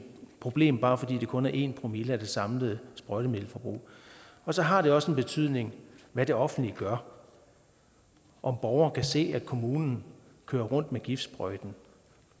problem bare fordi det kun er en promille af det samlede sprøjtemiddelforbrug og så har det også en betydning hvad det offentlige gør om borgere kan se at kommunen kører rundt med giftsprøjten